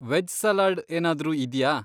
Veg salad ಏನಾದ್ರು ಇದ್ಯಾ?